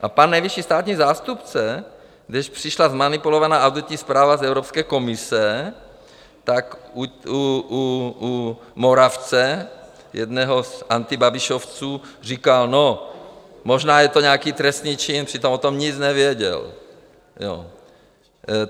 A pan nejvyšší státní zástupce, když přišla zmanipulovaná auditní zpráva z Evropské komise, tak u Moravce, jednoho z antibabišovců, říkal: No, možná je to nějaký trestný čin, přitom o tom nic nevěděl.